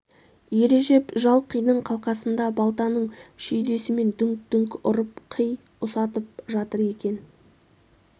ережеп жал қидың қалқасында балтаның шүйдесімен дүңк-дүңк ұрып қи ұсатып жатыр екен